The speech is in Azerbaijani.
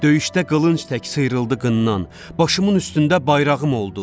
Döyüşdə qılınc tək sıyrıldı qınnan, başımın üstündə bayrağım oldu.